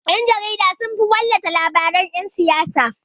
Ƴan-jarida sunfi wallafa labaran yan siyasa.